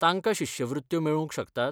तांकां शिश्यवृत्त्यो मेळूंक शकतात?